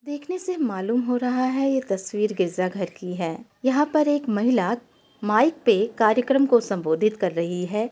देखने से मालूम हो रहा है। ये तस्वीर गिरजा घर की है। यहाँ पर एक महिला माइक पे कार्यक्रम को संबोधित कर रही है।